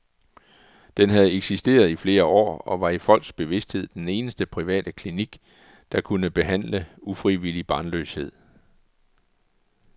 Den havde eksisteret i flere år, og var i folks bevisthed den eneste private klinik, der kunne behandle ufrivillig barnløshed.